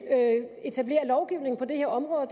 etablere lovgivning på det her område og